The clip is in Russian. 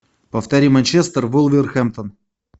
повтори манчестер вулверхэмптон